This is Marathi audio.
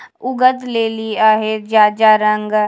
उघदलेली आहे ज्या ज्या रंगा --